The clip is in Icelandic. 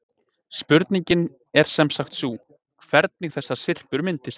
Spurningin er semsagt sú, hvernig þessar syrpur myndist.